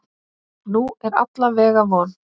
Nú er alla vega von.